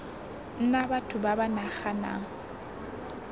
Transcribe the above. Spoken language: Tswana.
nna batho ba ba naganang